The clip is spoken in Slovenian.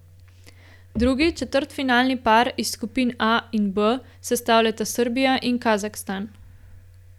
Drugi četrtfinalni par iz skupin A in B sestavljata Srbija in Kazahstan.